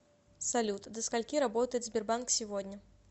салют до скольки работает сбербанк сегодня